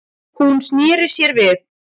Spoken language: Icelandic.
Hún sneri sér við.